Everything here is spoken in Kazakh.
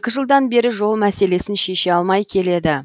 екі жылдан бері жол мәселесін шеше алмай келеді